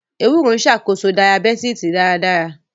Ewúro ń ṣàkóso Dayabítìsì dáradára.